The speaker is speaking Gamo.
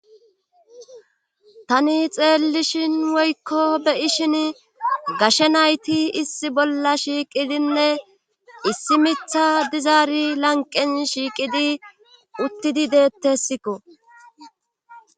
Tani xeellishin woykko beyishin gashe nayti issi bolla shiiqidinne issi mitha dizaari lanqen shiiqidi uttidi deettessikko.